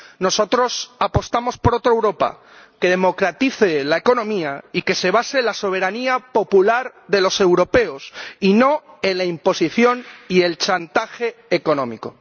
Nosotros apostamos por otra Europa, que democratice la economía y que se base en la soberanía popular de los europeos, y no en la imposición y el chantaje económico.